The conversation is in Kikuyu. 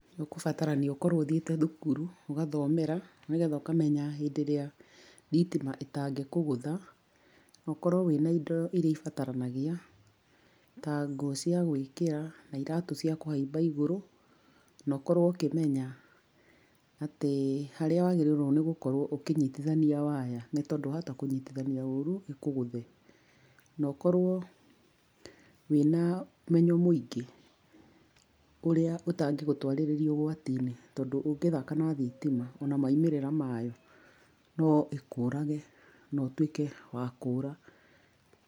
Nĩũkũbatarania ũkorwo ũthiĩte thukuru, ũgathomera nĩgetha ũkamenya hĩndĩ ĩrĩa thitima ĩtangĩkũgũtha, na ũkorwo wĩna indo iria ibataranagia, ta nguo cia gwĩkĩra na iratũ cia kũhaimba igũrũ, na ũkorwo ũkĩmenya atĩ, harĩa wagĩrĩirwo nĩgũkorwo ũkĩnyitithania waya nĩtondũ wahota kũnyitithania ũru ĩkũgũthe. Na ũkorwo wĩna ũmenyo mũingĩ, ũrĩa ũtangĩgũtwarĩrĩa ũgwatini, tondũ ũngĩthaka na thitima, ona maumĩrĩra mayo, no ĩkũrage na ũtuĩke wa kũra.